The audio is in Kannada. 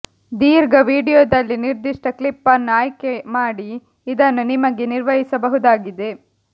ದೀರ್ಘ ವೀಡಿಯೊದಲ್ಲಿ ನಿರ್ದಿಷ್ಟ ಕ್ಲಿಪ್ ಅನ್ನು ಆಯ್ಕೆಮಾಡಿ ಇದನ್ನು ನಿಮಗೆ ನಿರ್ವಹಿಸಬಹುದಾಗಿದೆ